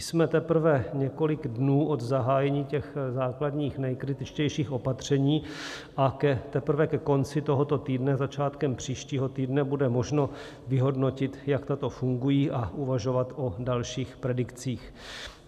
Jsme teprve několik dnů od zahájení těch základních nejkritičtějších opatření a teprve ke konci tohoto týdne, začátkem příštího týdne bude možno vyhodnotit, jak tato fungují, a uvažovat o dalších predikcích.